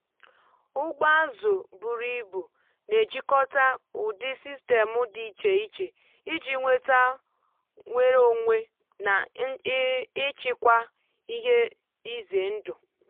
ụgbọ azụ buru ibu na-ejikọta ụdị sistemụ dị iche iche iji nweta nnwere onwe na ịchịkwa ihe ize ndụ.